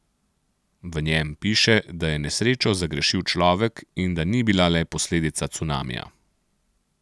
V njem piše, da je nesrečo zagrešil človek in da ni bila le posledica cunamija.